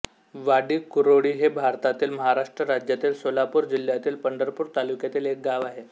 वाडीकुरोळी हे भारतातील महाराष्ट्र राज्यातील सोलापूर जिल्ह्यातील पंढरपूर तालुक्यातील एक गाव आहे